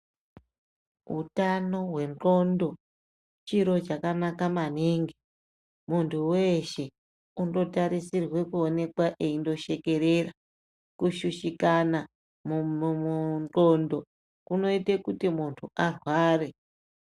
Utano hwendxondo chiro chakanaka maningi. Muntu weshe unotarisirwe kuonekwa eindoshekerera. Kushushikana mundxondo kunoite kuti muntu arware.